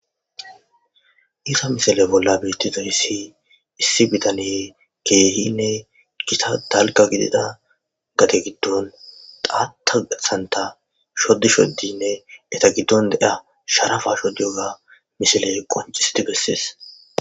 Isa misale bolla biittizo hissi issi bitane keehinne gita talga gidida gate giddon taata santa shoddi shoddinne eta giddon de'a sharafa shodiyoga mishiley qoncisiti bessees